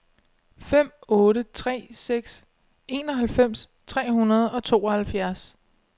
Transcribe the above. fem otte tre seks enoghalvfems tre hundrede og tooghalvfjerds